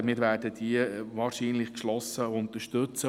Wir werden diese wahrscheinlich geschlossen unterstützen.